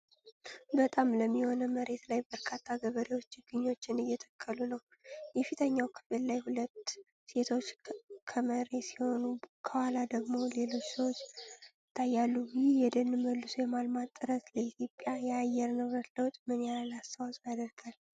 በጣም ለም የሆነ መሬት ላይ በርካታ ገበሬዎች ችግኞችን እየተከሉ ነው። የፊተኛው ክፍል ላይ ሁለት ሴቶች ከመሬሲሆኑ፣ ከኋላ ደግሞ ሌሎች ሰዎች ይታያሉ። ይህ የደን መልሶ የማልማት ጥረት ለኢትዮጵያ የአየር ንብረት ለውጥ ምን ያህል አስተዋጽኦ ያደርጋል?